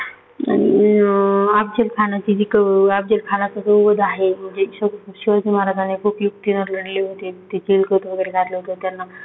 अं अफजलखान अफजलखानाचा जो वध आहे, शिवाजी महाराज ने खूप युक्तीने लढले होते. ते चीलखत वगैरे घातले त्यांना